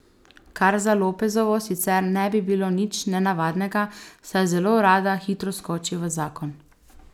Kar za Lopezovo sicer ne bi bilo nič nenavadnega, saj zelo rada hitro skoči v zakon.